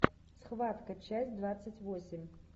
схватка часть двадцать восемь